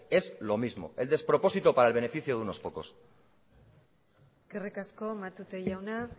es lo mismo el despropósito para el beneficio de unos pocos eskerrik asko matute jauna